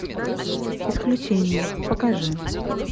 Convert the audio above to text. исключение покажи